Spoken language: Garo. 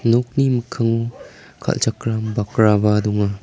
nokni mikkango kal·chakram bakraba donga.